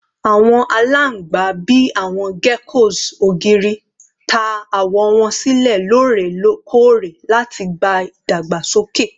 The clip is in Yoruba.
Awọn alangba, bii awọn geckos ogiri, ta awọ wọn silẹ lorekore lati gba idagbasoke